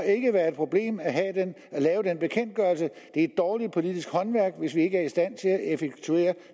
ikke være et problem at lave den bekendtgørelse det er dårligt politisk håndværk hvis vi ikke er i stand til at effektuere